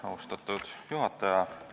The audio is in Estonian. Austatud juhataja!